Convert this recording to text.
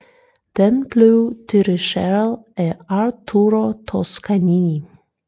Den blev dirrigeret af Arturo Toscanini